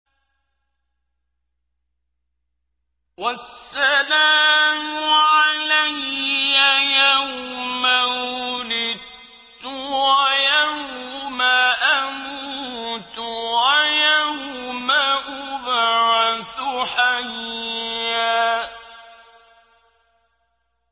وَالسَّلَامُ عَلَيَّ يَوْمَ وُلِدتُّ وَيَوْمَ أَمُوتُ وَيَوْمَ أُبْعَثُ حَيًّا